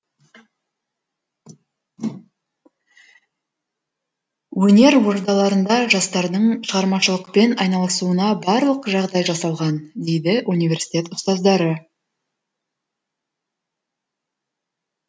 өнер ордаларында жастардың шығармашылықпен айналысуына барлық жағдай жасалған дейді университет ұстаздары